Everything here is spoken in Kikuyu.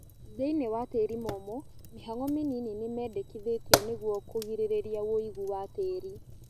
Thĩinĩ wa tĩri mũmũ mĩhang'o mĩnini nĩmendekithĩtio nĩguo kũgirĩrĩria woigũ wa tĩri